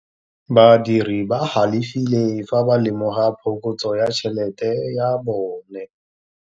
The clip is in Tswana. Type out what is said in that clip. Badiri ba galefile fa ba lemoga phokotsô ya tšhelête ya bone.